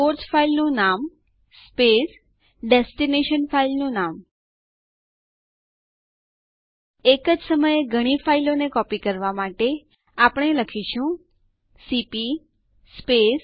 adduser આદેશ આપણા માટે નવું પ્રમાણિત યુઝર લોગીન બનાવશે